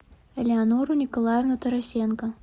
элеонору николаевну тарасенко